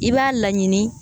I b'a laɲini